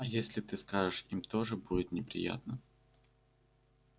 а если ты скажешь им тоже будет неприятно